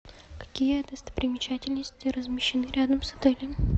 какие достопримечательности размещены рядом с отелем